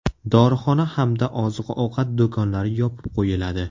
Dorixona hamda oziq-ovqat do‘konlari yopib qo‘yiladi.